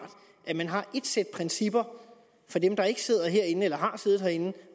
at man har et sæt principper for dem der ikke sidder herinde eller har siddet herinde